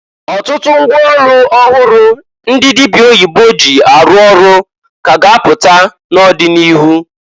Ọtụtụ ngwa ọlụ ọhụrụ ndị dịbịa oyibo ji arụ ọrụ ka a ga apụta n'ọdị n'ịrụ.